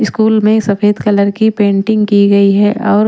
school में सफेद colour की पेंटिंग की गई है और--